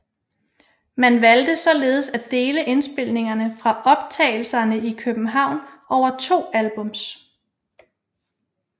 Man valgte således at dele indspillingerne fra optagelserne i København over to albums